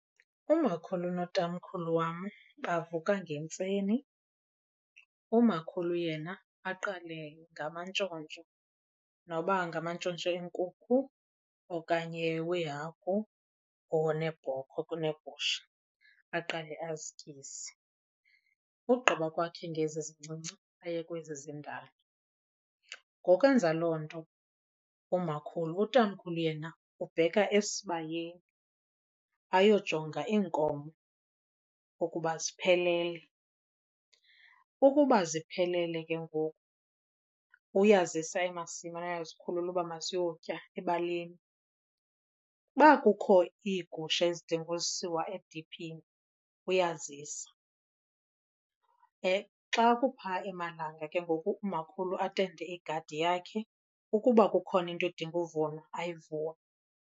Umakhulu notamkhulu wam bavuka ngentseni. Umakhulu yena aqale ngamantshontsho noba ngamantshontsho eenkukhu okanye weehagu or neebhokhwe kuneegusha, aqale azityise. Ugqiba kwakhe ngezi zincinci aye kwezi zindala. Ngoku enza loo nto umakhulu utamkhulu yena ubheka esibayeni ayojonga iinkomo ukuba ziphelele. Ukuba ziphelele ke ngoku uyazisa emasimi ayozikhulula uba maziyotya ebaleni. Uba kukho iigusha ezidinga usiwa ediphini uyazisa. Xa kupha emalanga ke ngoku umakhulu atende igadi yakhe, ukuba kukhona into edinga uvunwa ayivune.